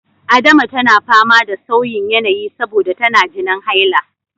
Adama tana fama da sauyin yanayi saboda tana jinin haila.